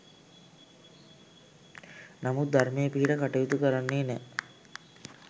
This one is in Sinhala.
නමුත් ධර්මයේ පිහිට කටයුතු කරන්නේ නෑ